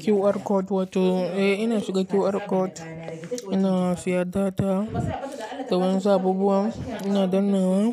QR code wato, eh ina shiga QR code ina siya data, ta wuyan sababuwa ina dannnawa